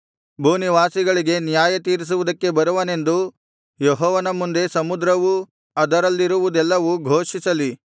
ಭೂನಿವಾಸಿಗಳಿಗೆ ನ್ಯಾಯತೀರಿಸುವುದಕ್ಕೆ ಬರುವನೆಂದು ಯೆಹೋವನ ಮುಂದೆ ಸಮುದ್ರವೂ ಅದರಲ್ಲಿರುವುದೆಲ್ಲವೂ ಘೋಷಿಸಲಿ